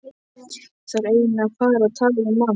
Ég þarf eiginlega að fara og tala við mann.